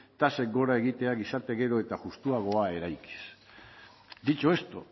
tasak gora egitea gizarte gero eta justuagoa eraikiz dicho esto